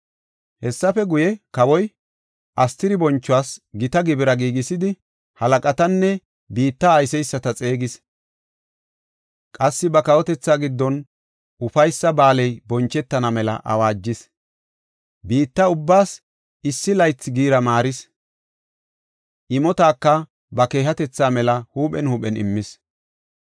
Hessafe guye, kawoy Astiri bonchuwas gita gibira giigisidi, halaqatanne biitta ayseysata xeegis. Qassi ba kawotethaa giddon ufaysa ba7aaley bonchetana mela awaajis. Biitta ubbaas issi laytha giira maaris. Imotaka ba keehatetha mela huuphen huuphen immis.